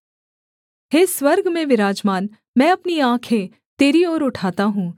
हे स्वर्ग में विराजमान मैं अपनी आँखें तेरी ओर उठाता हूँ